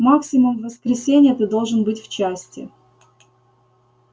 максимум в воскресенье ты должен быть в части